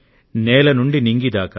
నేల నుండి నింగి దాకా